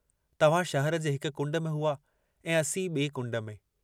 तव्हां शहर जे हिक कुण्ड में हुआ ऐं असीं बीअ कुण्ड में।